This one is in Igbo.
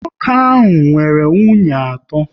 Nwoke ahụ nwere nwunye atọ